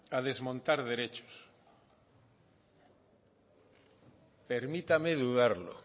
a desmontar derechos permítame dudarlo